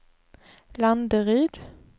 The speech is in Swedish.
Landeryd